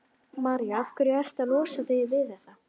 María: Af hverju ertu að losa þig við þetta?